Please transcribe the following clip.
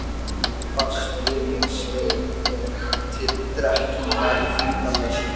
Þú bast við mig stein mér til drekkingar í þyngdarleysinu.